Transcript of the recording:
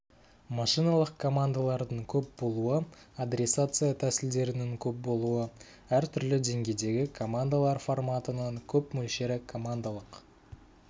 машиналық командалардың көп болуы адресация тәсілдерінің көп болуы әр түрлі деңгейдегі командалар форматының көп мөлшері командалық